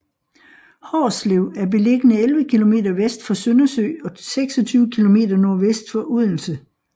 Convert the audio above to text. Hårslev er beliggende 11 kilometer vest for Søndersø og 26 kilometer nordvest for Odense